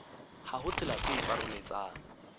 ha ho tsela tse paroletsang